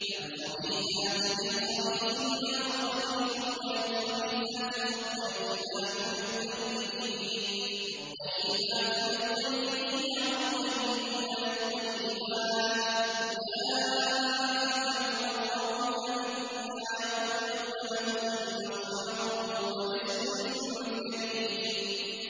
الْخَبِيثَاتُ لِلْخَبِيثِينَ وَالْخَبِيثُونَ لِلْخَبِيثَاتِ ۖ وَالطَّيِّبَاتُ لِلطَّيِّبِينَ وَالطَّيِّبُونَ لِلطَّيِّبَاتِ ۚ أُولَٰئِكَ مُبَرَّءُونَ مِمَّا يَقُولُونَ ۖ لَهُم مَّغْفِرَةٌ وَرِزْقٌ كَرِيمٌ